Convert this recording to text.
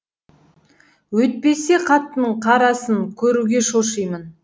өйтпесе қатынның қарасын көруге шошимын